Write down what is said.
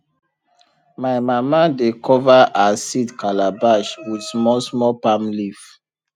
my mama dey cover her seed calabash with small small palm leaf